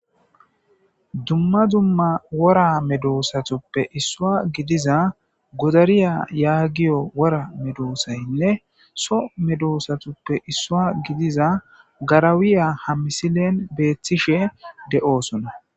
Dumma dumma wora medoosatuppe issua gidiza godariya yaagiyo wora medoosaynne so medoosatuppe issua gidiza garawiya hamisilen beeththishe de'oosona.